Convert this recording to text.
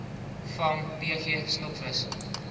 vang pg stokvis